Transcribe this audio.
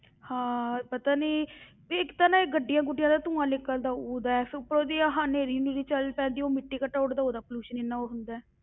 ਹਾਂ ਪਤਾ ਨੀ ਵੀ ਇੱਕ ਤਾਂ ਨਾ ਇਹ ਗੱਡੀਆਂ ਗੁੱਡੀਆਂ ਦਾ ਧੂੰਆ ਨਿਕਲਦਾ ਉਹਦਾ ਹੈ, ਫਿਰ ਉਪਰੋਂ ਦੀ ਆਹ ਨੇਰੀ ਨੂਰੀ ਚੱਲ ਪੈਂਦੀ, ਉਹ ਮਿੱਟੀ ਘੱਟਾ ਉੱਡਦਾ, ਉਹਦਾ pollution ਇੰਨਾ ਹੁੰਦਾ ਹੈ।